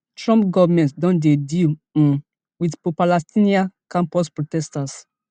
trump goment don dey deal um wit propalestinian campus protesters